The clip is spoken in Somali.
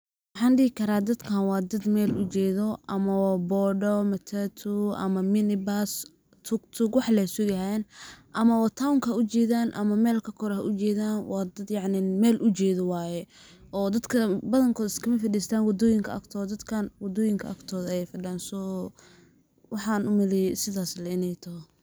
Waxaan dhihi karaa dadkaan waa dad meel ujeedo ama waa boda, matatu, mini-bus, tuk-tuk wax lee sugayaan ama wa town ka ayey u jedaan ama meel ka kore ha ujedaan waa dad yacni meel u jeedo waye oo . Dadka badankooda iskama fadhistaan wadoyinka agtooda ,dadkaan wadoyinka agtooda ayey fadhiyaan ,so waxaan u maleeye sidaas iney teh.